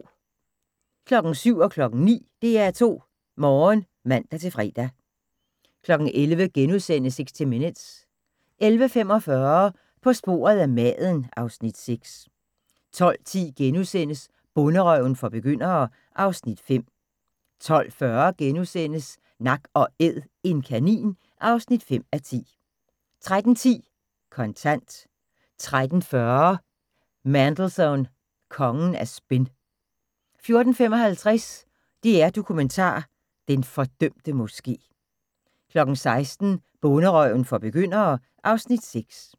07:00: DR2 Morgen (man-fre) 09:00: DR2 Morgen (man-fre) 11:00: 60 Minutes * 11:45: På sporet af maden (Afs. 6) 12:10: Bonderøven for begyndere (Afs. 5)* 12:40: Nak & æd - en kanin (5:10)* 13:10: Kontant 13:40: Mandelson – kongen af spin 14:55: DR Dokumentar: Den fordømte Moske 16:00: Bonderøven for begyndere (Afs. 6)